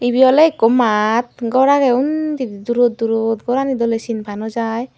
ibe oley ikko mat gorani undi durot durot gorani doley sinpa nw jai.